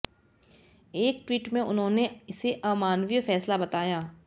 एक ट्टीट में उन्होंने इसे अमानवीय फैसला बताया